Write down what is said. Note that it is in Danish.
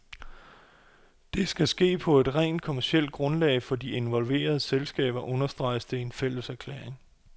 Det skal sket på et rent kommercielt grundlag for de involverede selskaber, understreges det i en fælleserklæring.